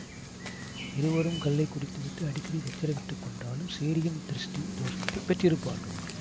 இருவரும் கள்ளைக் குடித்துவிட்டு அடிக்கடி சச்சரவிட்டுக் கொண்டாலும் சேரியின் திருஷ்டி தோஷத்தைப் பெற்றிருப்பார்கள்